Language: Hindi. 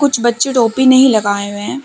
कुछ बच्चों टोपी नहीं लगाए हुए हैं ।